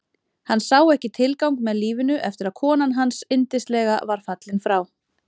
Hann sá ekki tilgang með lífinu eftir að konan hans yndislega var fallin frá.